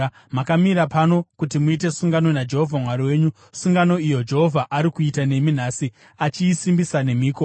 Makamira pano kuti muite sungano naJehovha Mwari wenyu, sungano iyo Jehovha ari kuita nemi nhasi achiisimbisa nemhiko,